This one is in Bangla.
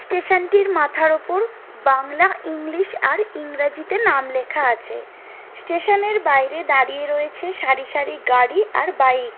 স্টেশন টির মাথার উপর বাংলা ইংলিশ আর ইংরাজিতে নাম লেখা আছে স্টেশন এর বাইরে দাঁড়িয়ে রয়েছে সারিসারি গাড়ি আর বাইক ।